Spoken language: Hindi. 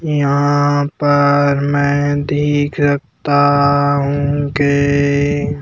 यहाँ पर मैं देख सकता हूँ की --